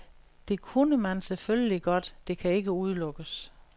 Det kunne man selvfølgelig godt, det kan ikke udelukkes.